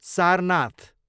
Sarnath